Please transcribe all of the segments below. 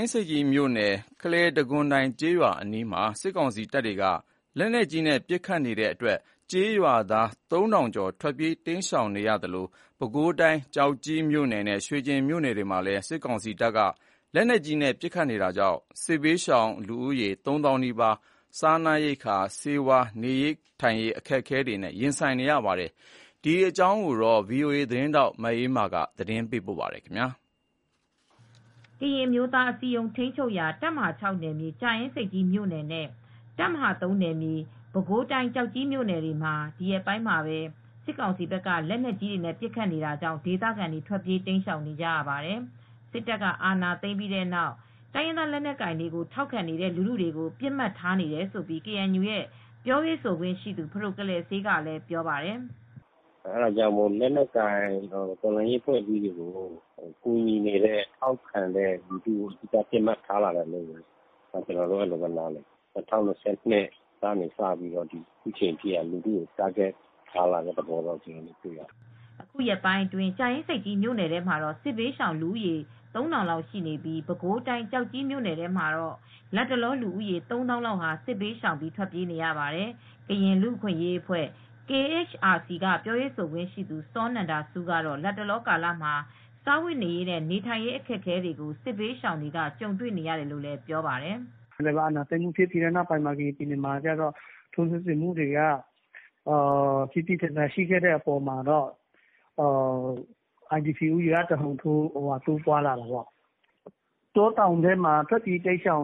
င်းဆိပ်ကြီးမြို့နယ် ခလယ်တံခွန်တိုင် ကျေးရွာအနီးမှာ စစ်ကောင်စီတပ်တွေက လက်နက်ကြီးနဲ့ ပစ်ခတ်နေတဲ့အတွက် ကျေးရွာသား ၃,ဝဝဝ ကျော် ထွက်ပြေး တိမ်းရှောင်နေရသလို၊ ပဲခူးတိုင်း ကျောက်ကြီးမြို့နယ်နဲ့ ရွှေကျင်မြို့နယ်တွေမှာလည်း စစ်ကောင်စီက လက်နက်ကြီးနဲ့ ပစ်ခတ်နေတာတွေကြောင့် စစ်ဘေးရှောင် ၃ သောင်းနီးပါး စားနပ်ရိက္ခာ ဆေးဝါး အခက်အခဲတွေနဲ့ ရင်ဆိုင်နေရပါတယ်။ ဒီအကြောင်းကို ဗွီအိုအေသတင်းထောက် မအေးအေးမာက သတင်းပေးပို့ထားပါတယ်။ ကရင်အမျိုးသားအစည်းအရုံး ထိန်းချုပ်ရာ တပ်မဟာ နယ်မြေ ကြာအင်းဆိပ်ကြီးမြိုနယ်နဲ့ တပ်မဟာ နယ်မြေပဲခူးတိုင်း ကျောက်ကြီးမြို့နယ်တွေမှာ ဒီရက်ပိုင်းထဲ စစ်ကောင်စီဘက်က လက်နက်ကြီးနဲ့ ပစ်ခတ်တာကြောင့်ဒေသခံတွေ ထွက်ပြေးတိမ်းရှောင် နေရပါတယ်။ စစ်တပ်က အာဏာသိမ်းပြီးတဲ့နောက် တိုင်းရင်းသားလက်နက်ကိုင်တွေကို ထောက်ခံတဲ့ လူထုကို ပစ်မှတ်ထားလာတာဖြစ်တယ်လို့ ကေအန်ယူရဲ့ပြောရေးဆိုခွင့်ရှိသူ ဖဒိုကလယ်စေးက ပြောပါတယ်။ " လက်နက်ကိုင် အဖွဲ့အစည်းတွေ တော်လှန်ရေးအဖွဲ့တွေကို ထောက်ခံကူညီနေတဲ့ လူထုတွေကို ပစ်မှတ်ထားလာတယ်လို့ ကျနော်တို့က အဲဒီလို နားလည်တယ်၊ ၂၀၂၂ ခုနှစ်ကစပြီး အခုချိန်ထိ လူထုကို ပစ်မှတ်ထား တိုက်ခိုက်လာတယ်လို့ပြောရမယ်။ " အခုရက်ပိုင်းမှာပဲ ကြာအင်းဆိပ်ကြီးမြို့နယ်ထဲမှာတော့ စစ်ဘေးရှောင်လူဦးရေ ၃,၀၀၀ လောက် ရှိနေပြီး ပဲခူးတိုင်းကျောက်ကြီးမြို့နယ်ထဲမှာတော့ လတ်တလော လူဦးရေ ၃ သောင်းလောက်ဟာ စစ်ဘေးရှောင် ထွက်ပြေးနေရပါတယ်။ ကရင်လူ့အခွင့်အရေးအဖွဲ့KHRC ရဲ့ ပြောရေးဆိုခွင့်ရှိသူ စောနန္ဒဆူး ကတော့ စစ်ဘေးရှောင်တွေဟာ လတ်တလော ကာလမှာ စားဝတ်နေရေးနဲ့ နေထိုင်ရေး အခက်အခဲ ကြုံနေရတယ်လို့ ပြောပါတယ်။ " အာဏာသိမ်းပြီးနောက် ထိုးစစ်ဆင်မူတွေက ပြင်းပြင်းထန်ထန် ရှိလာပြီးတဲ့နောက်မှာတော့ အိုင်ဒီပီ IDP လူဦးရေက တဟုန်ထိုး တိုးပွားလာတယ်။ တောတောင်ထဲမှာ နေရတဲ့ ထွက်ပြေး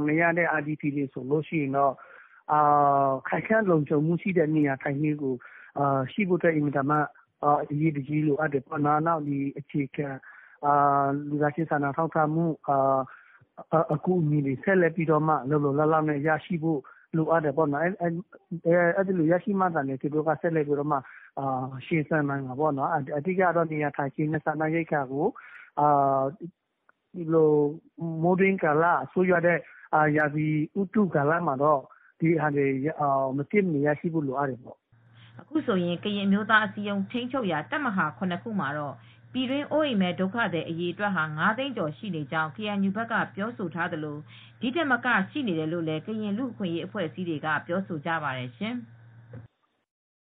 နေရတဲ့ အိုင်ဒီပီ တွေကတေ့ာ ခိုင်ခံတဲ့ လုံခြုံတဲ့ နေရာထိုင်းခင်း အမိုးအကာတွေ အရေးတကြီး လိုအပ်နေတယ်။ အခြေခံလူသားချင်း စာနာမှုအကူညီတွေ လိုအပ်တယ်။ အဲဒီလိုရမှသာ ရင်ဆိုင်နိုင်မယ်.. အခုလို မိုးတွင်းကာလမှာစားနပ်ရိက္ခာရော နေရာထိုင်းခင်း အကူညီတွေပါ ရဖို့လိုအပ်တယ်။ ဘေးအန္တရာယ် ကင်းအောင် သူတို့အတွက် မဖြစ်မနေ ရရှိဖို့လိုအပ်ပါတယ်။" အခုဆိုရင် ကရင်အမျိုးသားအစည်းအရုံး ထိန်းချုပ်ရာ တပ်မဟာ ခုမှာတော့ အရေအတွက်က ၅ သိန်းကျော် ရှိနေကြောင်း ကေအန်ယူဘက်က ပြောဆိုထားသလို ဒီထက်မကလည်း ရှိနေတယ်လို့ လူအခွင့်အရေးအဖွဲ့အစည်းတွေက ပြောဆိုကြပါတယ်ရှင်။